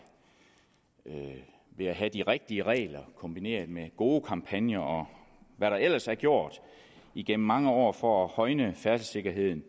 ved at have de rigtige regler kombineret med gode kampagner og hvad der ellers er gjort igennem mange år for at højne færdselssikkerheden